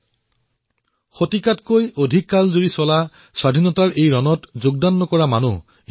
বোধহয় ভাৰতৰ শতিকাজুৰি চলা স্বাধীনতাৰ এই আন্দোলনত অংশগ্ৰহণ নকৰা ব্যক্তি নোলাবই